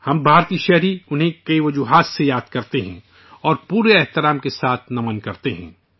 ہم ہندوستانی، انہیں کئی وجہوں سے یاد کرتے ہیں، اور خراج عقیدت پیش کرتے ہیں